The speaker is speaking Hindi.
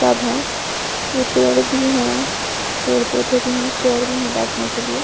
सब है ये पेड़ भी हैं पेड़ पौधे भी हैं चेयर भी हैं बैठने के लिए--